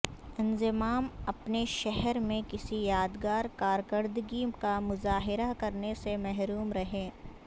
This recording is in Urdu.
انضمام اپنے شہر میں کسی یادگار کارکردگی کا مظاہرہ کرنے سے محروم رہے